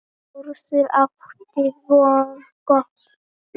Þórður átti vingott við.